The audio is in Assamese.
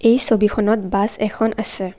এই ছবিখনত বাছ এখন আছে।